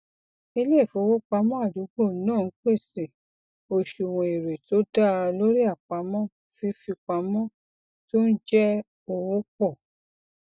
iléifowopamọ àdúgbò náà ń pèsè oṣuwọn èrè tó daa lórí àpamọ fífipamọ tó ń jẹ owó pọ